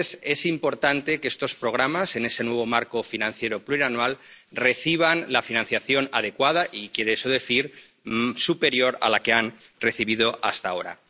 Es importante que estos programas, en ese nuevo marco financiero plurianual, reciban la financiación adecuada, lo que quiere decir que debe ser superior a la que han recibido hasta ahora.